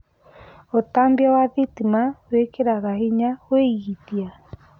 Utambia wa thitima wĩkĩraga hinya uigithia